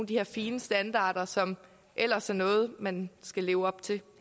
de her fine standarder som ellers er noget man skal leve op til